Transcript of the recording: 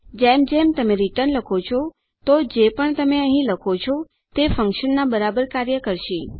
જેમ જેમ તમે રીટર્ન લખો છો તો જે પણ તમે અહીં લખો તે ફન્કશનના બરાબર કાર્ય કરશે